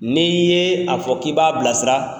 N'i ye a fɔ k'i b'a bilasira,